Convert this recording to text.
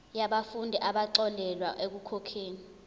yabafundi abaxolelwa ekukhokheni